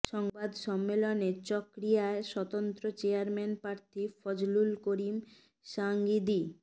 সংবাদ সম্মেলনে চকরিয়ার স্বতন্ত্র চেয়ারম্যান প্রার্থী ফজলুল করিম সাঈদী